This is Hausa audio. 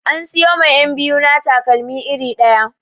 An siyo ma 'yab biyu na takalma iri ɗaya